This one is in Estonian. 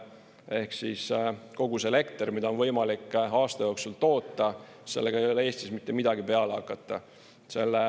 Ehk siis kogu see elekter, mida on võimalik aasta jooksul toota, sellega ei ole Eestis mitte midagi peale hakata.